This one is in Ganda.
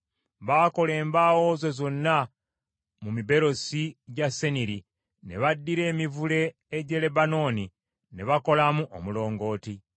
Baakola embaawo zo zonna mu miberosi gya Seniri, ne baddira emivule egy’e Lebanooni ne bakolamu omulongooti.